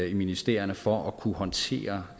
i ministerierne for at kunne håndtere